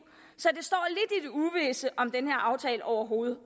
så i om den her aftale overhovedet